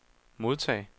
modtag